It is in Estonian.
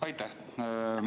Aitäh!